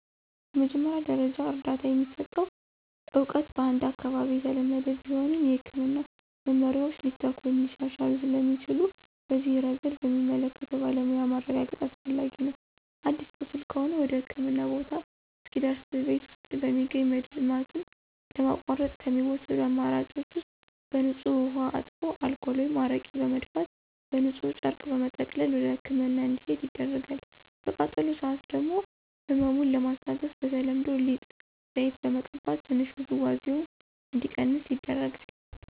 የመጀመሪያ ደረጃ እርዳታ የሚሰጠው እውቀት በአንድ አካባቢ የተለመደ ቢሆንም፣ የሕክምና መመሪያዎች ሊተኩ ወይም ሊሻሻሉ ስለሚችሉ በዚህ ረገድ በሚመለከተው ባለሙያ ማረጋገጥ አስፈላጊ ነው። አዲስ ቁስል ከሆነ ወደህክምና ቦታ እስኪደርስ ቤት ውስጥ በሚገኝ መድማቱን ለማቋረጥ ከሚወሰዱ አማራጭ ውስጥ በንፁህ ውሃ አጥቦ አልኮል ወይም አረቄ በመድፋት በንፁህ ጨርቅ በመጠቅለል ወደህክምና እንዲሄድ ይደረጋል። በቃጠሎ ሰአት ደግሞ ህመሙን ለማስታገስ በተለምዶ ሊጥ፣ ዘይት በመቀባት ትንሽ ውዝዋዜው እንዲቀንስ ይደረጋል።